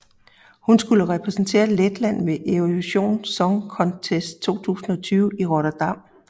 Hun skulle have repræsenteret Letland ved Eurovision Song Contest 2020 i Rotterdam